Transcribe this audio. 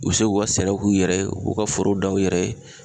U be se k'u ka sɛnɛw k'u yɛrɛ ye u ka foro dan u yɛrɛ ye